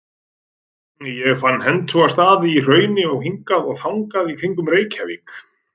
Ég fann hentuga staði í hrauni hingað og þangað í kringum Reykjavík.